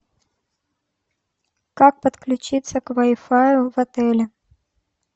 как подключиться к вайфаю в отеле